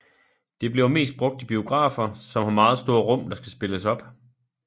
Det bliver mest brugt i biografer som har meget store rum der skal spilles op